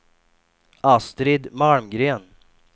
Astrid Malmgren